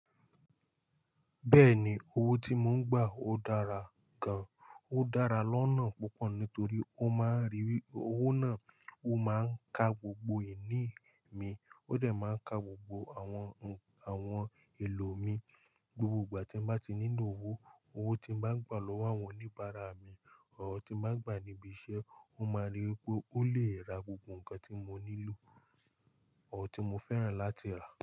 Bẹ́ẹ̀ni, owó tí mo ń gbà ó dára gan. Ó dára lọ́nà púpọ̀ nítorí ó máa ń ríi wí owó náà ó máa ń ka gbogbo ìní mi, ó dẹ̀ máa ń ka gbogbo àwọn ohun, àwọn èlò mi. Gbogbo ìgbà tí mo bá ti nílò owó, owó tí mo bá gbà lọ́wọ́ àwọn oníbàárà mi or tí mo bá ń gbà níbi iṣẹ́, ó máa ríi wípé ó lè ra gbogbo nǹkan tí mo nílò, ó tí mo fẹ́ràn láti rà.